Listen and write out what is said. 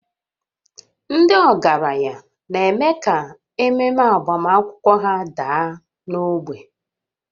Ndị ọgaranya na-eme ka ememe agbamakwụkwọ ha daa n'ogbe